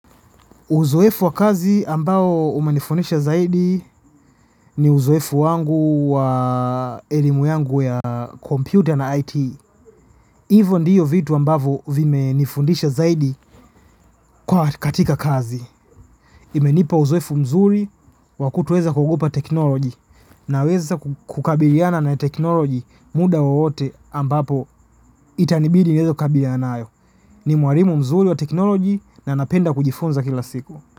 Uzoefu wa kazi ambao umenifundisha zaidi ni uzoefu wangu wa elimu yangu ya kompyuta na IT. Hivyo ndiyo vitu ambavo vimenifundisha zaidi kwa katika kazi. Imenipa uzoefu mzuri wa kutoweza kuogopa teknoloji naweza kukabiliana na teknoloji muda wowote ambapo itanibidi niweze kukabiliana nayo. Ni mwalimu mzuri wa teknoloji na napenda kujifunza kila siku.